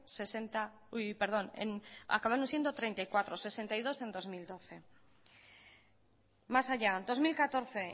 treinta y cuatro hirurogeita bi en bi mila hamabi más allá dos mil catorce